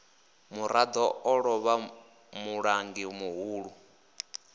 murado o lovha mulangi muhulu